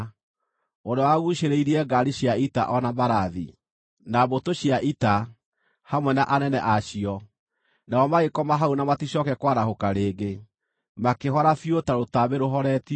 ũrĩa waguucĩrĩirie ngaari cia ita o na mbarathi, na mbũtũ cia ita, hamwe na anene a cio, nao magĩkoma hau na maticooke kwarahũka rĩngĩ, makĩhora biũ ta rũtambĩ rũhoretio.